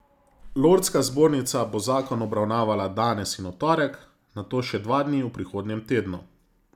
Lordska zbornica bo zakon obravnavala danes in v torek, nato še dva dni v prihodnjem tednu.